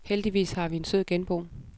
Heldigvis har vi en sød genbo.